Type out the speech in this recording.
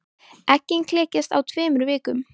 Eggin klekjast á tveimur vikum.